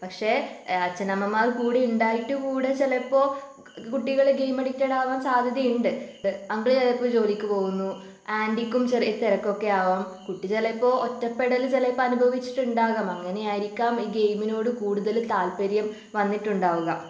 പക്ഷേ ഏഹ് അച്ഛനമ്മമാർ കൂടെ ഉണ്ടായിട്ടുകൂടെ ചിലപ്പോൾ കുട്ടികളെ ഗെയിം അഡിക്റ്റഡ് ആകാൻ സാധ്യതയുണ്ട്. അങ്കിള് ചിലപ്പോ ജോലിക്ക് പോകുന്നു ആൻ്റിക്കും ചെറിയ തിരക്കൊക്കെ ആവാം കുട്ടി ചിലപ്പോ ഒറ്റപ്പെടൽ ചിലപ്പോ അനുഭവിച്ചിട്ടുണ്ടാവാം അങ്ങനെ ആയിരിക്കാം ഈ ഗെയിമിനോട് കൂടുതൽ താല്പര്യം വന്നിട്ടുണ്ടാവുക.